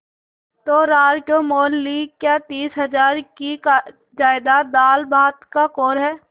तो रार क्यों मोल ली क्या तीस हजार की जायदाद दालभात का कौर है